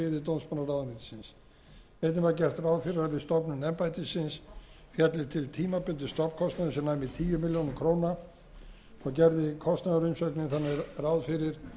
við stofnun embættisins félli til tímabundinn stofnkostnaður sem næmi um tíu milljónir króna gerði kostnaðarumsögnin þannig ráð fyrir að því að